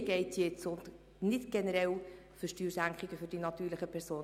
Darum geht es und nicht generell um Steuersenkungen für die natürlichen Personen.